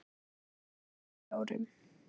þremur. fjórum.